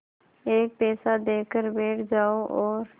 एक पैसा देकर बैठ जाओ और